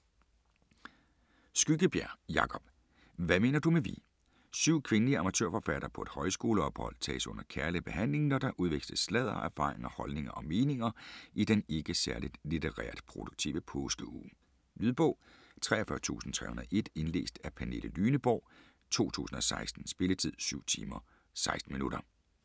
Skyggebjerg, Jacob: Hvad mener du med vi Syv kvindelige amatørforfattere på et højskoleophold tages under kærlig behandling, når der udveksles sladder, erfaringer, holdninger og meninger i den ikke særligt litterært produktive påskeuge. Lydbog 43301 Indlæst af Pernille Lyneborg, 2016. Spilletid: 7 timer, 16 minutter.